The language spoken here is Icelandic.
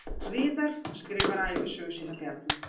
Viðar skrifar ævisögu séra Bjarna